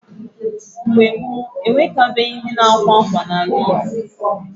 Mgbe gboo, ewekabeghị ndi na-akwa akwa n’ala Igbo.